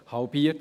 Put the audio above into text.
Halbiert!